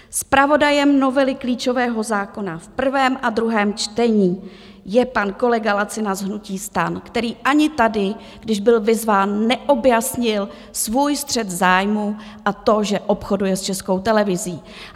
Zpravodajem novely klíčového zákona v prvém a druhém čtení je pan kolega Lacina z hnutí STAN, který ani tady, když byl vyzván, neobjasnil svůj střet zájmů a to, že obchoduje s Českou televizí.